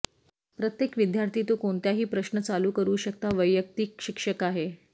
प्रत्येक विद्यार्थी तो कोणत्याही प्रश्न चालू करू शकता वैयक्तिक शिक्षक आहे